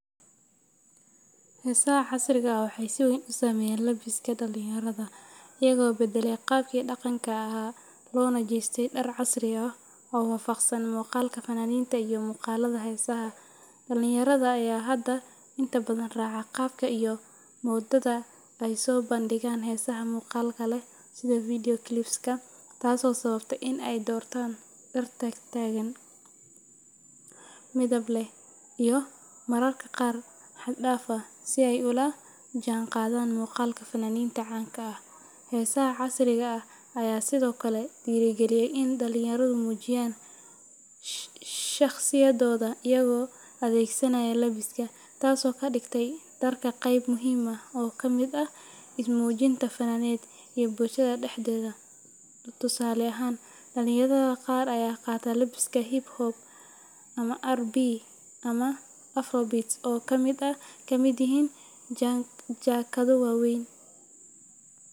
Heesaha casriga ah waxay si weyn u saameeyeen labiska dhalinyarada, iyagoo beddelay qaabkii dhaqanka ahaa loona jeestay dhar casri ah oo waafaqsan muuqaalka fannaaniinta iyo muuqaalada heesaha. Dhalinyarada ayaa hadda inta badan raaca qaabka iyo moodada ay soo bandhigaan heesaha muuqaalka leh sida video clips-ka, taasoo sababtay in ay doortaan dhar taagtaagan, midab leh, iyo mararka qaar xad-dhaaf ah, si ay ula jaanqaadaan muuqaalka fannaaniinta caanka ah. Heesaha casriga ah ayaa sidoo kale dhiirrigeliyay in dhalinyaradu muujiyaan shakhsiyadooda iyagoo adeegsanaya labiska, taasoo ka dhigtay dharka qayb muhiim ah oo ka mid ah ismuujinta faneed iyo bulshada dhexdeeda. Tusaale ahaan, dhalinyarada qaar ayaa qaata labis hip-hop ama R&B ama afrobeat oo ay ka mid yihiin jaakado waaweyn.